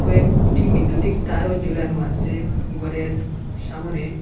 কয়েকটি বিদ্যুতিক তারও ঝোলানো আসে গরের সামোনে ।